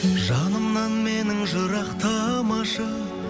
жанымнан менің жырақтамашы